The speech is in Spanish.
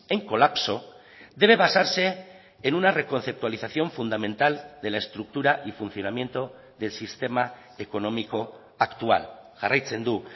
en colapso debe basarse en una reconceptualización fundamental de la estructura y funcionamiento del sistema económico actual jarraitzen du